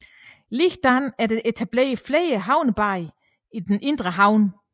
Ligeledes er der etableret flere havnebade i den indre havn